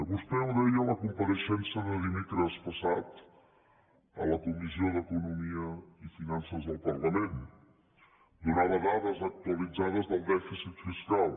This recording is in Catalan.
vostè ho deia a la compareixença de dimecres passat a la comissió d’economia i finances del parlament donava dades actualitzades del dèficit fiscal